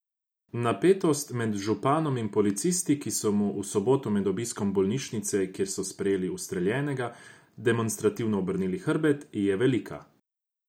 Napetost med županom in policisti, ki so mu v soboto med obiskom bolnišnice, kjer so sprejeli ustreljena, demonstrativno obrnili hrbet, je velika.